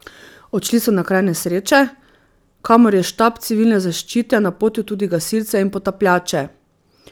Odšli so na kraj nesreče, kamor je štab Civilne zaščite napotil tudi gasilce in potapljače.